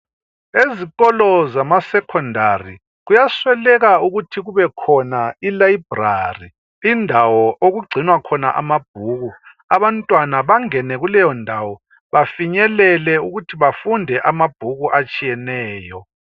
Ezikolo zamasecondary kuyasweleka ukuthi kubekhona ilibrary. lndawo okugcinwa khona amabhuku. Abantwana bangene kuleyondawo. Bafinyelele ukuthi bafunde amabhuku atshiyeneyo.